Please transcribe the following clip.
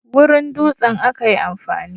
wurin dutsen aka yi amfani